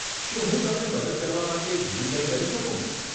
શું હું તમને મદદ કરવા માટે બીજું કંઈ કરી શકું?